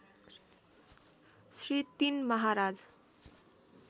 Shri ३ Maharaj